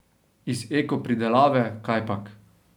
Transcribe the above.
Iz eko pridelave, kajpak.